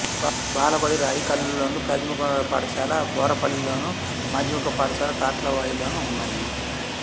బాలబడి రాయికల్లోను ప్రాథమికోన్నత పాఠశాల బోర్పపల్లిలోను మాధ్యమిక పాఠశాల తాట్లవాయిలోనూ ఉన్నాయి